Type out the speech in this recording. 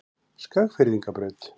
Skagfirðingabraut